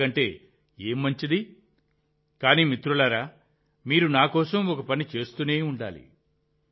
ఇంతకంటే ఏది మంచిది కానీ మిత్రులారా మీరు నా కోసం ఒక పని చేస్తూనే ఉండాలి